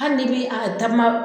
Hali n'i bɛ a takuma